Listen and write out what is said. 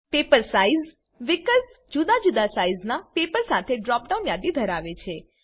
paper size વિકલ્પ જુદા જુદા સાઈઝના પેપર સાથે ડ્રોપ ડાઉન યાદી ધરાવે છે